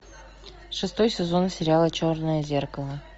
шестой сезон сериала черное зеркало